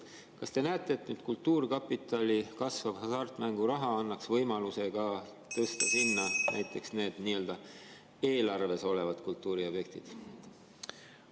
Kas te näete, et kultuurkapitali kasvav hasartmänguraha annaks võimaluse tõsta sinna ka näiteks need nii-öelda eelarves olevad kultuuriobjektid?